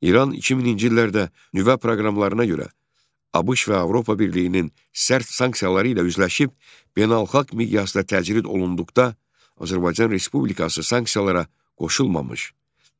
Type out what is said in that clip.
İran 2000-ci illərdə nüvə proqramlarına görə ABŞ və Avropa Birliyinin sərt sanksiyaları ilə üzləşib beynəlxalq miqyasda təcrid olunduqda, Azərbaycan Respublikası sanksiyalara qoşulmamış,